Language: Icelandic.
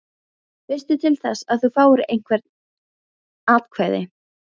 Veistu til þess að þú fáir einhver atkvæði?